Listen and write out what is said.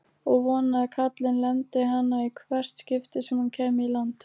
Og vonaði að kallinn lemdi hana í hvert skipti sem hann kæmi í land!